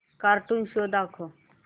cartoon show दाखव